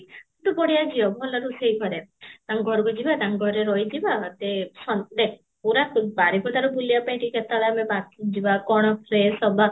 କିନ୍ତୁ ବଢିୟା ଝିଅ ଭଲ ରୋଷେଇ କରେ, ତାଙ୍କ ଘରକୁ ଯିବା ତାଙ୍କ ଘରେ ରହି ଯିବା ମତେ ଦେଖ ପୁରା ବାରିପଦାରୁ ବୁଲିବା ପାଇଁ ଟିକେ କେତେବେଳେ ଆମେ ଯିବା କଣ fresh ହବା